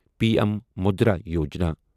P M Mudra Yojana